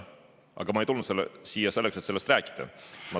Aga ma ei tulnud siia selleks, et sellest rääkida.